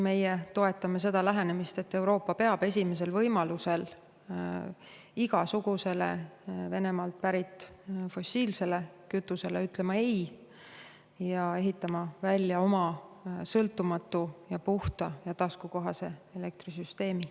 Meie toetame seda lähenemist, et Euroopa peab esimesel võimalusel igasugusele Venemaalt pärit fossiilsele kütusele ütlema ei ning ehitama välja oma sõltumatu, puhta ja taskukohase elektrisüsteemi.